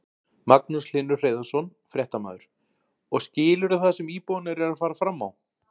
Magnús Hlynur Hreiðarsson, fréttamaður: Og skilurðu það sem íbúarnir eru að fara fram á?